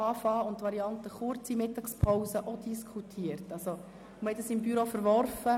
Zudem haben wir ebenfalls die Variante einer kurzen Mittagspause diskutiert und diese seitens des Büros verworfen.